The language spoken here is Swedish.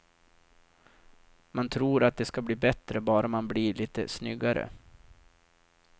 Man tror att det ska bli bättre bara man blir lite snyggare.